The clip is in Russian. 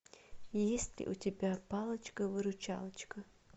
есть ли у тебя палочка выручалочка